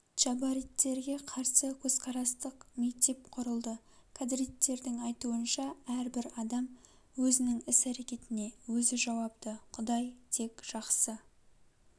джабариттерге қарсы көзқарастық мектеп құрылды кадриттердің айтуынша әрбір адам өзінің іс-әрекетіне өзі жауапты кұдай тек жаксы